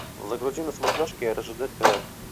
загрузи на смотрешке ржд тв